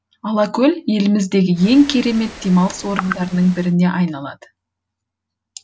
алакөл еліміздегі ең керемет демалыс орындарының біріне айналады